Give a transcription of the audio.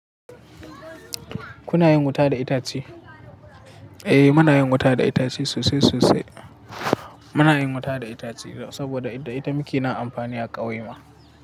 Kuna yin wuta da itace? Eh, muna yin wuta da itace sosai sosai. Muna yin wuta da itace saboda da ita muke amfani a ƙauyen mu.